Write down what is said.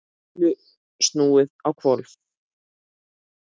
Öllu snúið á hvolf.